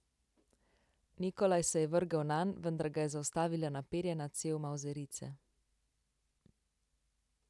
Nikolaj se je vrgel nanj, vendar ga je zaustavila naperjena cev mavzerice.